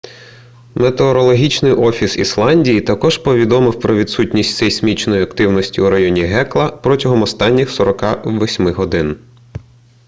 метеорологічний офіс ісландії також повідомив про відсутність сейсмічної активності у районі гекла протягом останніх 48 годин